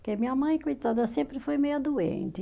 Porque minha mãe, coitada, sempre foi meio doente.